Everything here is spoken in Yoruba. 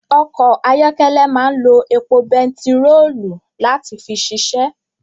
Ọkọ̀ ayọ́kẹ́lẹ́ máa ń lo epo bentiroolu láti fi ṣiṣẹ́